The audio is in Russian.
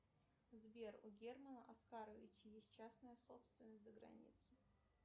сбер у германа оскаровича есть частная собственность за границей